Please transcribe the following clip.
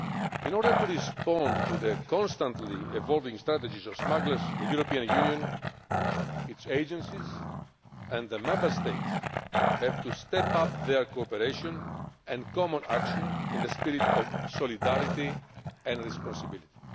In order to respond to the constantly evolving strategies of smugglers, the European Union, its agencies and the Member States have to step up their cooperation and common action in a spirit of solidarity and responsibility.